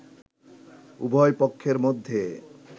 উভয় পক্ষের মধ্যে